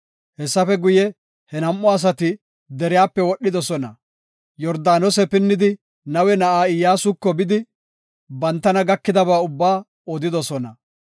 Hessafe guye, he nam7u asati deriyape wodhidosona. Yordaanose pinnidi, Nawe na7aa Iyyasuko yidi, bantana gakidaba ubbaa odidosona.